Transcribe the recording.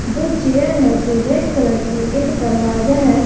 दो चेयर है जो रेड कलर की है एक दरवाजा है।